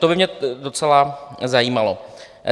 To by mě docela zajímalo.